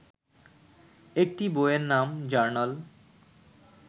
একটি বইয়ের নাম 'জার্নাল'